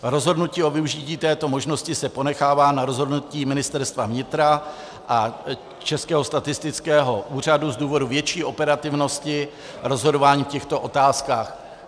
Rozhodnutí o využití této možnosti se ponechává na rozhodnutí Ministerstva vnitra a Českého statistického úřadu z důvodu větší operativnosti rozhodování v těchto otázkách.